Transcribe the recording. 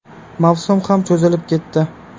Mavsum ham cho‘zilib ketdi.